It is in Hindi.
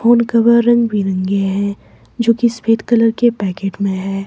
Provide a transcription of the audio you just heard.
फोन कवर रंगबिरंगे है जो की सफेद कलर के पैकेट में है।